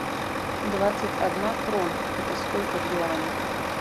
двадцать одна крона это сколько в юанях